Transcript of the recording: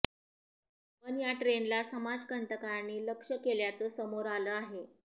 पण या ट्रेनला समाजकंटकांनी लक्ष्य केल्याचं समोर आलं आहे